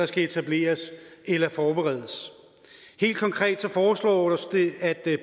skal etableres eller forberedes helt konkret foreslås det at